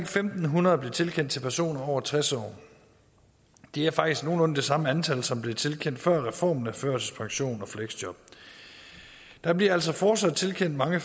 fem hundrede blev tilkendt til personer på over tres år det er faktisk nogenlunde det samme antal som blev tilkendt før reformen af førtidspension og fleksjob der bliver altså fortsat tilkendt mange